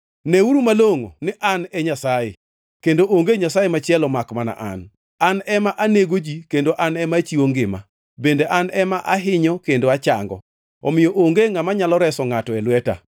“Ngʼeuru malongʼo ni An e Nyasaye kendo onge nyasaye machielo makmana An. An ema anego ji kendo An ema achiwo ngima, bende An ema ahinyo kendo achango. Omiyo onge ngʼama nyalo reso ngʼato e lweta.